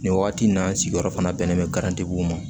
Nin wagati in na n sigiyɔrɔ fana bɛnnen bɛ garantigew ma